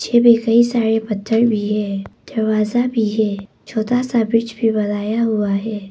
छे बिखरे सारे पत्थर भी है। दरवाजा भी है। छोटा सा ब्रिज भी बनाया हुआ है।